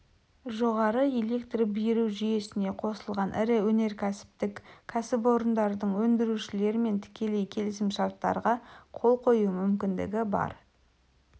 жоғары электр беру жүйесіне қосылған ірі өнеркәсіптік кәсіпорындардың өндірушілермен тікелей келісімшарттарға қол қою мүмкіндігі бар